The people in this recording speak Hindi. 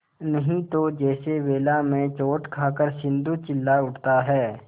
नहीं तो जैसे वेला में चोट खाकर सिंधु चिल्ला उठता है